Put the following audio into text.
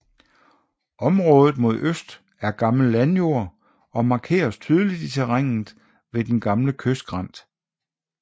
Området mod øst er gammel landjord og markeres tydeligt i terrænet ved den gamle kystskrænt